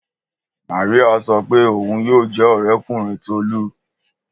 Mariam so pe oun yoo ja ọrẹkunrin Tolu